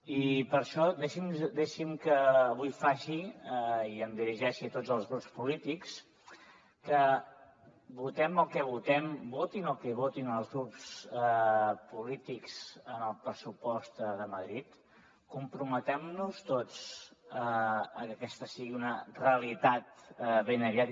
i per això deixi’m que avui faci i em dirigeixi a tots els grups polítics que votem el que votem votin el que votin els grups polítics en el pressupost de madrid comprometem nos tots a que aquesta sigui una realitat ben aviat